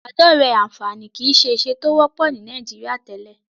Ìbádọ́rẹ̀ẹ́ àǹfààní kìí ṣe ìṣe tó wọ́pọ̀ ní Nàìjíríà tẹ́lẹ̀.